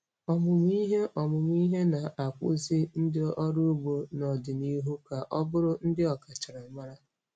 Ọmụmụ ihe Ọmụmụ ihe na-akpụzi ndị ọrụ ugbo n'ọdịnihu ka ọ bụrụ ndị ọkachamara.